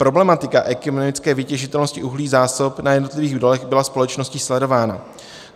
Problematika ekonomické vytěžitelnosti uhlí, zásob na jednotlivých dolech byla společností sledována.